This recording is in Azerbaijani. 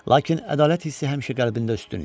Lakin ədalət hissi həmişə qəlbində üstün idi.